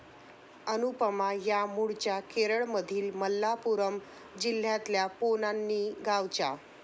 अनुपमा या मूळच्या केरळमधील मल्लापुराम जिल्ह्यातल्या पोन्नानी गावच्या.